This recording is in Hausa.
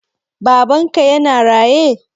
Babanka yana raye?